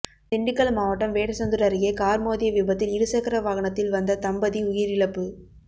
திண்டுக்கல் மாவட்டம் வேடசந்தூர் அருகே கார் மோதிய விபத்தில் இருசக்கர வாகனத்தில் வந்த தம்பதி உயிரிழப்பு